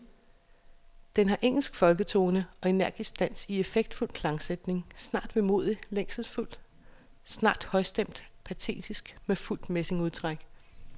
Den har engelsk folketone og energisk dans i effektfuld klangsætning, snart vemodig længselsfuld, snart højstemt patetisk med fuldt messingudtræk.